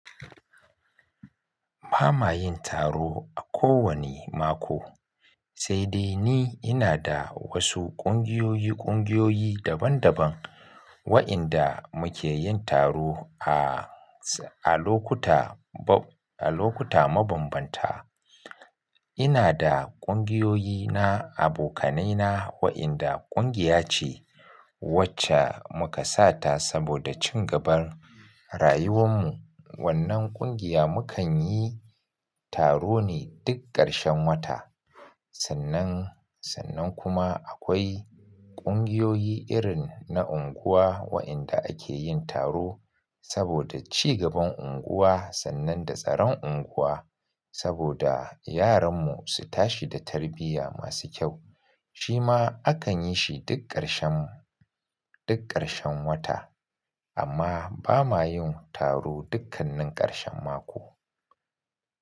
Bamayin taro a kowane mako, sai dai ni inada wasu ƙungiyoyi ƙungiyoyi daban daban wa'inda muke yin taro a, a lokuta bo-- a lokuta mabambanta. Inada ƙungiyoyi na abokanaina wa'inda ƙungiya ce wacce muka sa ta saboda cigaban rayuwan mu. Wannan ƙungiya mu kan yi taro ne duk ƙarshen wata. Sannan, sannan kuma akwai ƙungiyoyi irin na unguwa wa'inda akeyin taro saboda cigaban unguwa sannan da tsaron unguwa saboda yaran mu su tashi da tarbiyya masu kyau. Shima akan yishi duk ƙarshen, duk ƙarshen wata. Amma bamayin taro dukkannin ƙarshen mako.